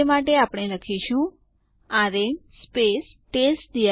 ચાલો લખીએ ed space g